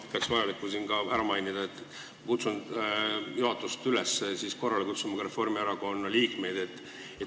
Ma pean vajalikuks siin ära mainida, et kutsun juhatust üles kutsuma korrale ka Reformierakonna liikmeid.